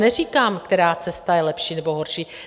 Neříkám, která cesta je lepší nebo horší.